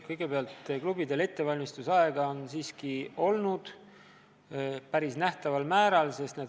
Kõigepealt, klubidele on ettevalmistusaega siiski antud päris piisaval määral.